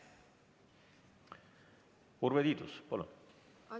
Urve Tiidus, palun!